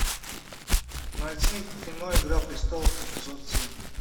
найди кино игра престолов эпизод семь